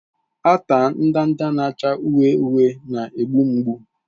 Ata ndanda na-acha uhie uhie na-egbu mgbu.